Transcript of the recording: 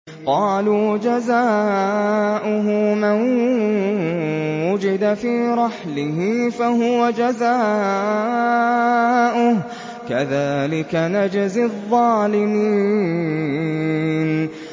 قَالُوا جَزَاؤُهُ مَن وُجِدَ فِي رَحْلِهِ فَهُوَ جَزَاؤُهُ ۚ كَذَٰلِكَ نَجْزِي الظَّالِمِينَ